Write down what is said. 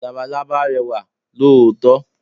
Labalábá rẹwà lóòótọ́.